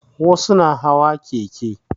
Wasu na hawa keke